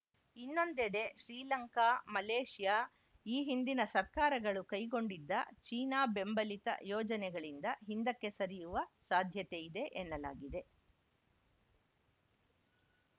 ಇನ್ನೊಂದೆಡೆ ಶ್ರೀಲಂಕಾ ಮಲೇಷ್ಯಾ ಈ ಹಿಂದಿನ ಸರ್ಕಾರಗಳು ಕೈಗೊಂಡಿದ್ದ ಚೀನಾ ಬೆಂಬಲಿತ ಯೋಜನೆಗಳಿಂದ ಹಿಂದಕ್ಕೆ ಸರಿಯುವ ಸಾಧ್ಯತೆಯಿದೆ ಎನ್ನಲಾಗಿದೆ